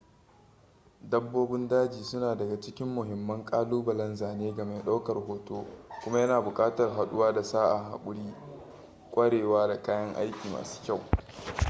dabbobin daji suna daga cikin mahimman ƙalubalen zane ga mai ɗaukar hoto kuma yana buƙatar haɗuwa da sa'a haƙuri kwarewa da kayan aiki masu kyau